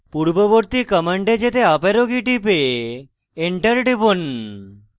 পূর্ববর্তী command যেতে up arrow key টিপে enter টিপুন